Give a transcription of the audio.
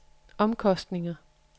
omkostninger